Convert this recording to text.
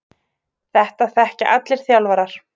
Þetta þekkja allir þjálfarar.